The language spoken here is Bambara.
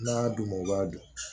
N'a d'u ma u b'a dun